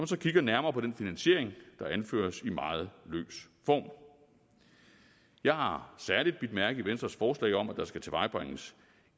så kigger nærmere på den finansiering der anføres i meget løs form jeg har særlig bidt mærke i venstres forslag om at der skal tilvejebringes